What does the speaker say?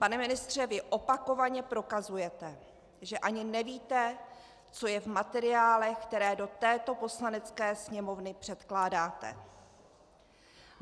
Pane ministře, vy opakovaně prokazujete, že ani nevíte, co je v materiálech, které do této Poslanecké sněmovny předkládáte.